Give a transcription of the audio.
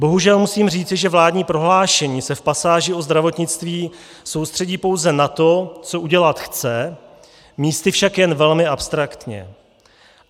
Bohužel musím říci, že vládní prohlášení se v pasáži o zdravotnictví soustředí pouze na to, co udělat chce, místy však jen velmi abstraktně.